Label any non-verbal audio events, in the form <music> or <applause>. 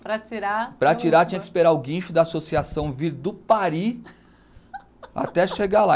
Para tirar, tinha que esperar o guincho da associação vir do <unintelligible> até chegar lá.